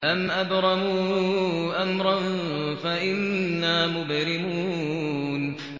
أَمْ أَبْرَمُوا أَمْرًا فَإِنَّا مُبْرِمُونَ